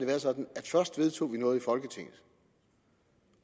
været sådan at først vedtog vi noget i folketinget